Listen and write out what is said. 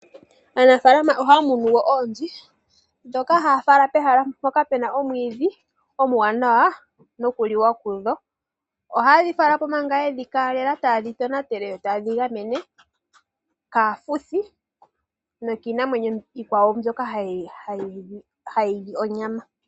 Aanafaalama ohaya munu wo oonzi ndhoka haya fala pehala mpoka pu na omwiidhi omuwanawa nokuliwa kudho. Ohaye dhi fala po manga ye dhi keelela taye dhi tonatele nokudhi gamena kaafuthi nokiinamwenyo iikwawo mbyoka hayi li onyama.